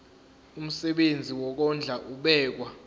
umsebenzi wokondla ubekwa